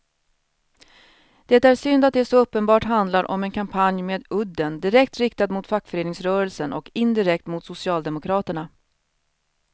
Det är synd att det så uppenbart handlar om en kampanj med udden direkt riktad mot fackföreningsrörelsen och indirekt mot socialdemokraterna.